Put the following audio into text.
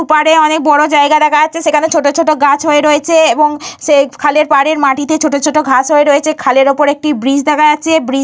ওপারে অনেক বড় জায়গা দেখা আছে। সেখানে ছোট ছোট গাছ হয়ে রয়েছে। এবং সেই খালের পাড়ের মাটিতে ছোট ছোট ঘাস হয়ে রয়েছে। খালের উপর একটি ব্রিজ দেখা যাচ্ছে। ব্রিজ --